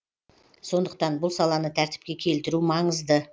сондықтан бұл саланы тәртіпке келтіру маңызды